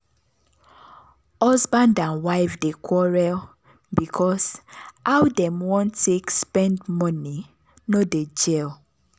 husband and wife dey quarrel because how dem wan take spend money no dey gel